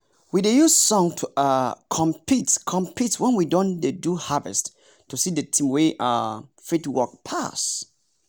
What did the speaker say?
we dey use song to um compete compete when we don dey do harvest to see the team wey um fit work pass.